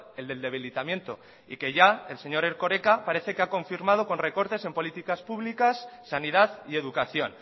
el del debilitamiento y que ya el señor erkoreka parece que ha confirmado con recortes en políticas públicas sanidad y educación